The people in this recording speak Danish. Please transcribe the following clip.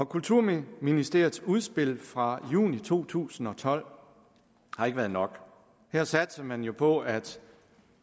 kulturministeriets udspil fra juni to tusind og tolv har ikke været nok her satsede man jo på at